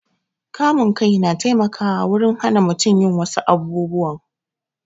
Kamun kai na taimakawa wurin hana mutum yin wassu abubuwan